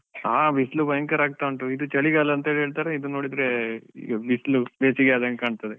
ಹಾ ಬಿಸಿಲು ಭಯಂಕರ ಆಗ್ತಾ ಉಂಟು, ಇದು ಚಳಿಗಾಲ ಅಂತ ಹೇಳ್ತಾರೆ, ಇದು ನೋಡಿದ್ರೆ ಬಿಸಿಲು ಬೇಸಿಗೆ ಆದಂಗೆ ಕಾಣ್ತಾ ಇದೆ.